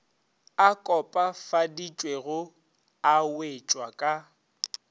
a kopafaditšwego a wetšwa ka